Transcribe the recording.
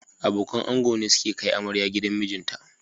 Abokan ango ne suke kai amarya gidan mijinta